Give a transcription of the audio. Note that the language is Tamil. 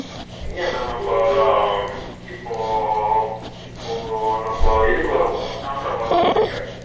இங்கண்ணா நம்ம இப்போ Noise இப்போ நம்ம இதுக்கு வரோம் பாருங்க தாம்பரம் வரும் பாருங்க